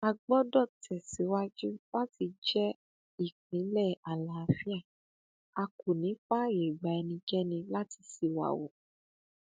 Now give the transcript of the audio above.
a gbọdọ tẹ síwájú láti jẹ ìpínlẹ àlàáfíà a kò ní í fààyè gba ẹnikẹni láti ṣíwàhu